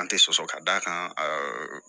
An tɛ sɔsɔ ka d'a kan ɛɛ